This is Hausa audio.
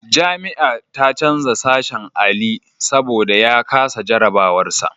Jami'a ta canja sashen Ali saboda ya kasa jarabawar sa.